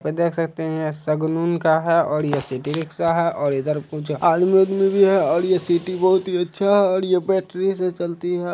तो देख सकते है ये सगुन का है और ये सिटी रिक्सा है और ये इधर कुछ आदमी वाद्मी भी है और सिटी बहुत ही अच्छा और ये बेटरी से चलती है।